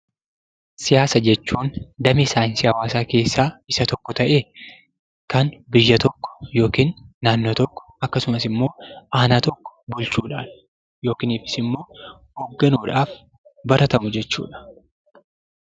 Siyaasa jechuun damee saayinsii hawaasaa keessaa isa tokko ta'ee kan biyya tokko yookiin naannoo tokko akkasumas immoo aanaa tokko bulchuudhaaf yookiinis immoo hoogganuudhaaf baratamu jechuu dha.